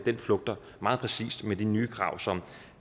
flugter meget præcist med de nye krav som